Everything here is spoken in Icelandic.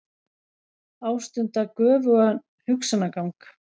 Ástunda göfugan hugsanagang.